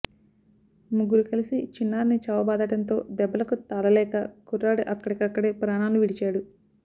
ముగ్గురు కలిసి చిన్నారిని చావబాదడంతో దెబ్బలకు తాళలేక కుర్రాడు అక్కడికక్కడే ప్రాణాలు విడిచాడు